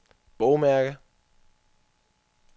bogmærke